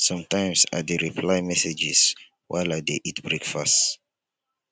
sometimes i dey reply messages while i dey eat breakfast.